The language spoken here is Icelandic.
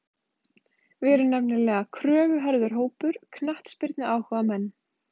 Við erum nefnilega kröfuharður hópur, knattspyrnuáhugamenn.